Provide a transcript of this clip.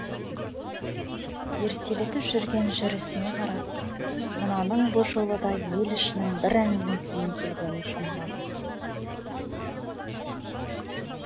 ертелетіп жүрген жүрісіне қарап мынаның бұ жолы да ел ішінің бір әңгімесімен келгенін шамалады